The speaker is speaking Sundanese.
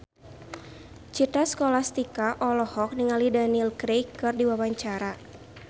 Citra Scholastika olohok ningali Daniel Craig keur diwawancara